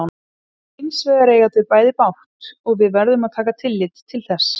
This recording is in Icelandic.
Hins vegar eiga þau bæði bágt og við verðum að taka tillit til þess.